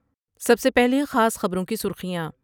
سب سے پہلے خاص خبروں کی سرخیاں